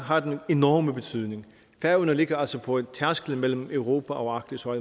har en enorm betydning færøerne ligger altså på tærsklen mellem europa og arktis og